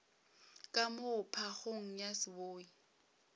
ka moo phagong ya seboi